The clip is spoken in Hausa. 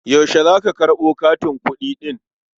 Yaushe za ka karɓo katin kuɗi ɗin?